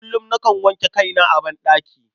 Kullum, nakan wanke kaina a banɗaki.